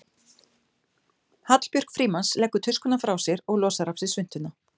Hallbjörg Frímanns leggur tuskuna frá sér og losar af sér svuntuna.